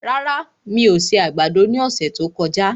Rárá, mi ò se àgbàdo ní ọ̀sẹ̀ tí ó kọjá